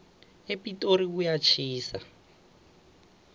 epitori kuyatjhisa